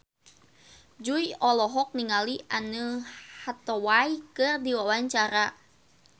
Jui olohok ningali Anne Hathaway keur diwawancara